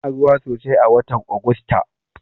Ana ruwa sosai a watan Ogusta.